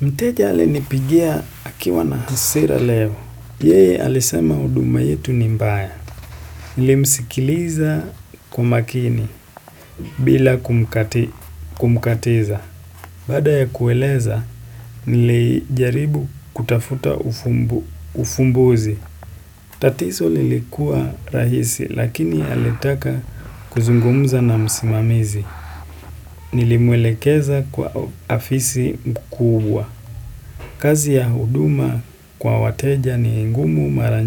Mteja ali nipigia akiwa na hasira leo, yeye alisema huduma yetu ni mbaya, nilimsikiliza kumakini bila kumkatiza, baada ya kueleza nilijaribu kutafuta ufumbuzi, tatizo lilikua rahisi lakini alitaka kuzungumuza na msimamizi, nilimwelekeza kwa afisi mkubwa. Kazi ya huduma kwa wateja ni ngumu mara